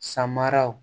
Samaraw